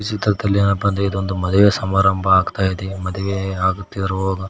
ಮತ್ತು ಅಂದ್ರೆ ಇದು ಒಂದು ಮದುವೆ ಸಮಾರಂಭ ಆಗ್ತಾ ಇದೆ ಮದುವೆ ಆಗ್ತಿರೋರು--